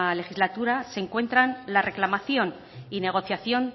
legislatura se encuentran la reclamación y negociación